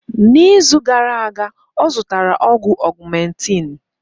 N'izu gara aga ọ zụtara ọgwụ augmentin